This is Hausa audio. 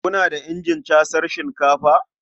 Kuna da injin casar shinkafa?